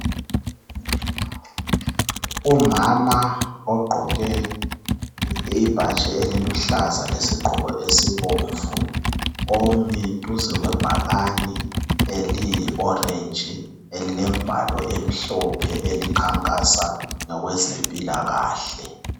Umama ogqoke imbatshi eliluhlaza lesigqoko esibomvu omi duze lebhakani eliyi 'orange' elimbalo emhlophe elikhankasa ngokwezemphilakahle.